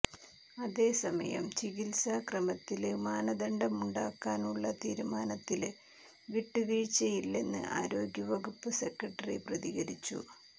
അതേസമയം ചികില്സാ ക്രമത്തില് മാനദണ്ഡമുണ്ടാക്കാനുളള തീരുമാനത്തില് വിട്ടുവീഴ്ചയില്ലെന്ന് ആരോഗ്യവകുപ്പ് സെക്രട്ടറി പ്രതികരിച്ചു